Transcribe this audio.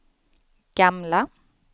gamla